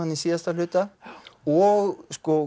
í síðasta hluta og